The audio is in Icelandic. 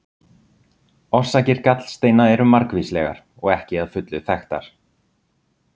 Orsakir gallsteina eru margvíslegar og ekki að fullu þekktar.